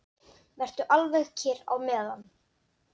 Vertu alveg kyrr á meðan.